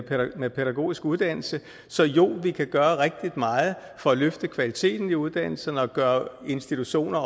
pædagogisk uddannelse så jo vi kan gøre rigtig meget for at løfte kvaliteten i uddannelserne og også gøre institutioner